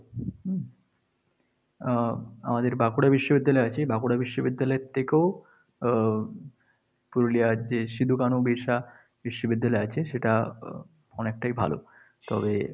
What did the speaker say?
হম আহ আমাদের বাঁকুড়া বিশ্ববিদ্যালয় আছে। বাঁকুড়া বিশ্ববিদ্যালয় থেকেও আহ পুরুলিয়ার যে সিধু-কানু বিরশা বিশ্ববিদ্যালয় আছে সেটা অনেকটাই ভালো। তবে